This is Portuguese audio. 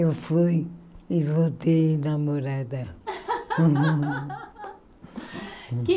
Eu fui e voltei namorada.